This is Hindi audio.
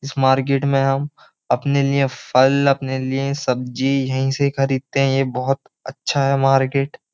इस मार्केट में हम अपने लिए फल अपने लिए सब्जी यहीं से खरीदते हैं यह बहुत अच्छा है मार्केट ।